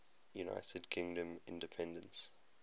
united kingdom independence